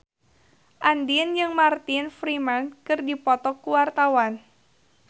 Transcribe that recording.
Andien jeung Martin Freeman keur dipoto ku wartawan